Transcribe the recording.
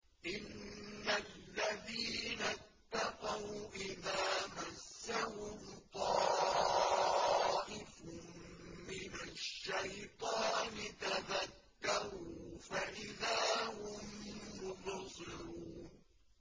إِنَّ الَّذِينَ اتَّقَوْا إِذَا مَسَّهُمْ طَائِفٌ مِّنَ الشَّيْطَانِ تَذَكَّرُوا فَإِذَا هُم مُّبْصِرُونَ